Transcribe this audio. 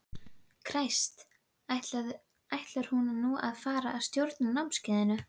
Kræst, ætlar hún nú að fara að stjórna námskeiðinu?